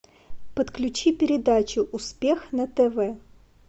подключи передачу успех на тв